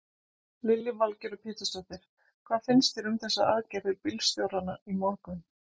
Lillý Valgerður Pétursdóttir: Hvað finnst þér um þessar aðgerðir bílstjóranna í morgun?